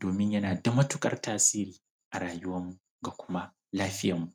domin yana da matuƙar tasiri a rayuwarmu da kuma lafiyarmu.